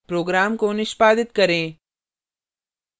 program को निष्पादित करें